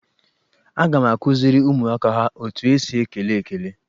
Aga m akụziri ụmụaka ha etu esi ekele ekele.